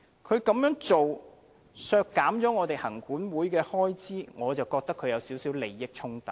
他如此削減行管會的開支，我認為有少許利益衝突。